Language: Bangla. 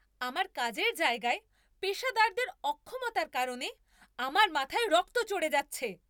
আমার কাজের জায়গায় পেশাদারদের অক্ষমতার কারণে আমার মাথায় রক্ত চড়ে যাচ্ছে!